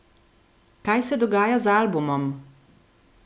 Kaj se dogaja z albumom?